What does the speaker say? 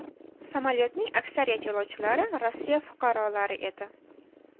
Samolyotning aksariyat yo‘lovchilari Rossiya fuqarolari edi.